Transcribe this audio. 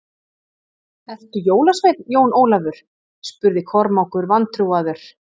Ertu jólasveinn, Jón Ólafur spurði Kormákur vantrúaður.